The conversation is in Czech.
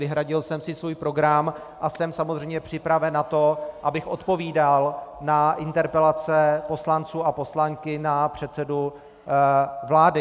Vyhradil jsem si svůj program a jsem samozřejmě připraven na to, abych odpovídal na interpelace poslanců a poslankyň na předsedu vlády.